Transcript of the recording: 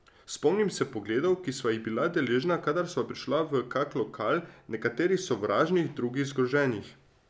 Spomnim se pogledov, ki sva jih bila deležna, kadar sva prišla v kak lokal, nekaterih sovražnih, drugih zgroženih.